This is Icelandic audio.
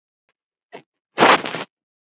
Boranir voru hafnar við